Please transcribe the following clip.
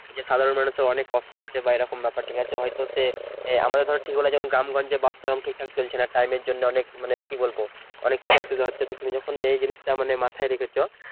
যে সাধারণ মানুষের অনেক কষ্ট হচ্ছে বা এরকম ব্যাপার ঠিক আছে হয়তো সে আমাকে ধরে ঠিক হলে যেমন গ্রামগঞ্জে বাস ধরো ঠিক থাকে চলছে না time এর জন্য অনেক মানে কি বলবো অনেক কিছু অসুবিধা হচ্ছে তুমি যখন নেই জিনিস তা মাথায় রেখেছো